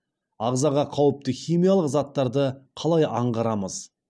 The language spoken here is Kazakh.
ағзаға қауіпті химиялық заттарды қалай аңғарамыз